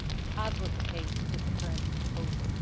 as was the case with the current proposal.